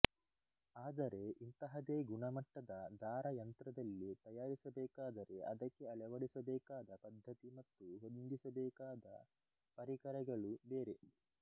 ಆದರೆ ಇಂತಹದೇ ಗುಣ ಮಟ್ಟದ ದಾರ ಯಂತ್ರದಲ್ಲಿ ತಯಾರಿಸಬೇಕಾದರೆ ಅದಕ್ಕೆ ಅಳವಡಿಸಬೇಕಾದ ಪದ್ಧತಿ ಮತ್ತು ಹೊಂದಿಸಬೇಕಾದ ಪರಿಕರಗಳು ಬೇರೆ